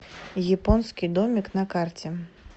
японский домик на карте